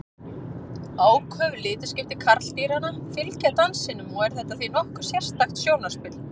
Áköf litaskipti karldýranna fylgja dansinum og er þetta því nokkuð sérstakt sjónarspil.